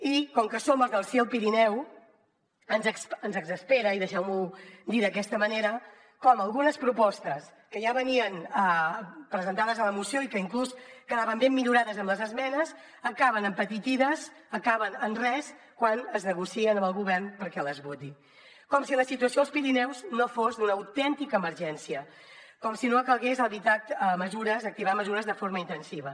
i com que som els del sí al pirineu ens exaspera i deixeu m’ho dir d’aquesta manera com algunes propostes que ja venien presentades a la moció i que inclús quedaven ben millorades amb les esmenes acaben empetitides acaben en res quan es negocien amb el govern perquè les voti com si la situació als pirineus no fos d’una autèntica emergència com si no calgués activar mesures de forma intensiva